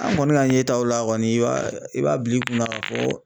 An kɔni ka yetaw la kɔni i b'a i b'a bila i kunna ka fɔ